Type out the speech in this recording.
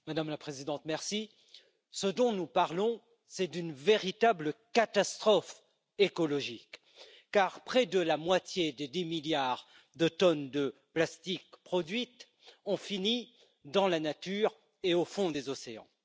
Madame la Présidente, ce dont nous parlons, c'est d'une véritable catastrophe écologique car près de la moitié des 10 milliards de tonnes de plastique produites ont fini dans la nature et au fond des océans.